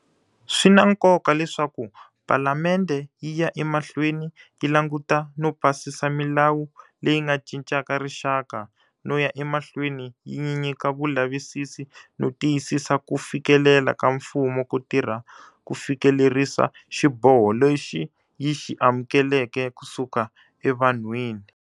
Swi na nkoka leswaku Palamende yi ya emahlweni yi languta no pasisa milawu leyi nga cincaka rixaka no ya emahlweni yi nyika vulavisisi no tiyisisa ku fikelela ka mfumo ko tirha ku fikelerisa xiboho lexi yi xi amukeleke ku suka evanhwini.